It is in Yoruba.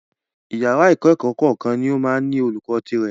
Ìyàrá ìkẹ́kọ̀ọ́ kọ̀ọ̀kan ní o máa ń ní olùkó tirẹ̀.